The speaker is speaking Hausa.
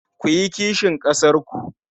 Ku yi kishin ƙasarku.